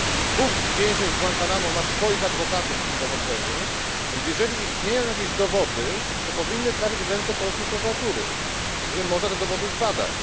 Dwóch więźniów z Guantánamo ma swoich adwokatów w tym dochodzeniu, więc jeżeli istnieją jakieś dowody, to powinny trafić w ręce polskiej prokuratury, żeby można było te dowody zbadać.